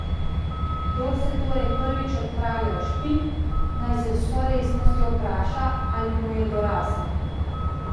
Kdor se torej prvič odpravlja v Špik, naj se z vso resnostjo vpraša, ali mu je dorasel.